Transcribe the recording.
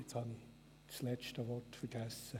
Jetzt habe ich das letzte Wort vergessen!